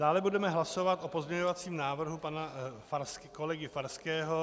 Dále budeme hlasovat o pozměňovacím návrhu pana kolegy Farského -